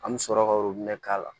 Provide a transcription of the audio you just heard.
An bɛ sɔrɔ ka k'a la